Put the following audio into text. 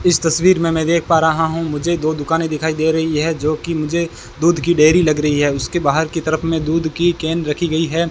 इस तस्वीर में मैं देख पा रहा हूं मुझे दो दुकाने दिखाई दे रही है जोकि मुझे दूध की डेयरी लग रही है उसके बाहर की तरफ में दूध की कैन रखी गई है।